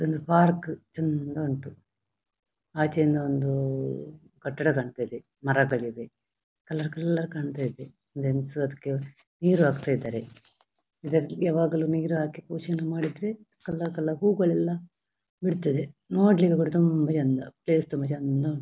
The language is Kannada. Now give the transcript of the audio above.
ಒಂದು ಪಾರ್ಕ್ ಚೆಂದ ಉಂಟು ಆಚೆಯಿಂದ ಒಂದು ಕಟ್ಟಡ ಕಾಣ್ತಿದ್ದೆ ಮರಬೆಳೆದಿದ್ದೆ ಕಲರ್ ಕಲರ್ ಕಾಣ್ತಯಿದ್ದೆ ಒಂದು ಹೆಂಗಸು ಅದಿಕ್ಕೆ ನೀರು ಹಾಕ್ತಾಯಿದ್ದರೆ ಇದ ಯಾವಾಗಲು ಅದಿಕ್ಕೆ ನೀರು ಹಾಕಿ ಪೋಶಣೆ ಮಾಡಿದ್ರೆ ಕಲರ್ ಕಲರ್ ಹೂವುಗಳೆಲ್ಲ ಬಿಡ್ತದ್ದೆ ನೋಡ್ಲಿಕ್ಕೆ ಕೂಡ ತುಂಬಾ ಚೆಂದ ಪ್ಲೇಸ್ ತುಂಬಾ ಚೆಂದ ಉಂಟು.